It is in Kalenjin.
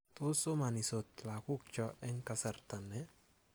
Tos somanisot lagukcho eng kasarta ni?